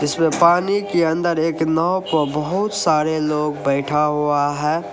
पानी के अंदर एक नाव पे बहुत सारे लोग बैठा हुआ है।